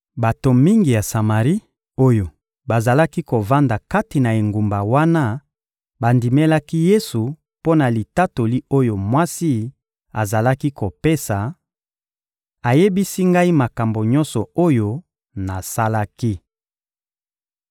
Bato mingi ya Samari, oyo bazalaki kovanda kati na engumba wana bandimelaki Yesu mpo na litatoli oyo mwasi azalaki kopesa: «Ayebisi ngai makambo nyonso oyo nasalaki.»